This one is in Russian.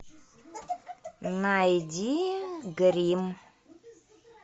найди гримм